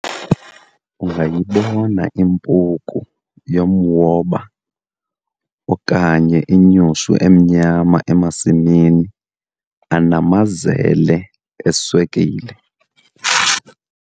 ungayibona impuku yomwoba okanye inyushu emnyama emasimini anamazele eswekile